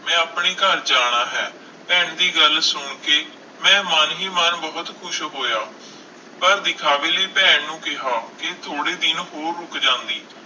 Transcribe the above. ਮੈਂ ਆਪਣੇ ਘਰ ਜਾਣਾ ਹੈ, ਭੈਣ ਦੀ ਗੱਲ ਸੁਣ ਕੇ ਮੈਂ ਮਨ ਹੀ ਮਨ ਬਹੁਤ ਖ਼ੁਸ਼ ਹੋਇਆ, ਪਰ ਵਿਖਾਵੇ ਲਈ ਭੈਣ ਨੂੰ ਕਿਹਾ ਕਿ ਥੋੜ੍ਹੇ ਦਿਨ ਹੋਰ ਰੁੱਕ ਜਾਂਦੀ।